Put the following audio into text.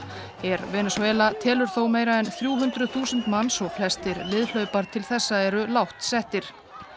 her Venesúela telur þó meira en þrjú hundruð þúsund manns og flestir til þessa eru lágt settir